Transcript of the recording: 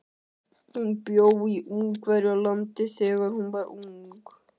Hún bjó í Ungverjalandi þegar hún var ung.